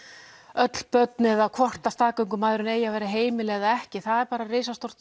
öll börn eða hvort staðgöngumæðrun eigi að vera heimil eða ekki það er bara risastórt